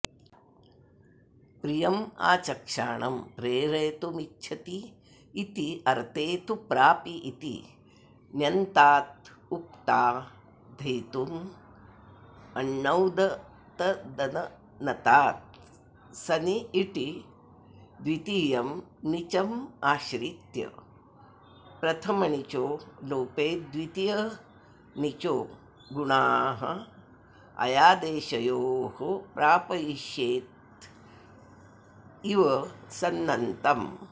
प्रियमाचक्षाणं प्रेरयितुमिच्छतीत्यर्ते तु प्रापि इति ण्यन्तादुक्ताद्धेतुमण्णौतद्नतात्सनि इटि द्वितीयं णिचमाश्रित्य प्रथमणिचो लोपेद्वितीयणिचो गुणाऽयादेशयोः प्रापयिषेत्येव सन्नन्तम्